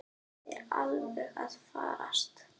Það er alveg að farast.